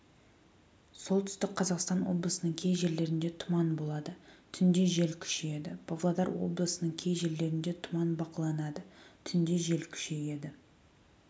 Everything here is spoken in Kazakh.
солтүстік қазақстан облысының кей жерлерінде тұман болады түнде жел күшейеді павлодар облысының кей жерлерінде тұман бақыланады түнде жел күшейеді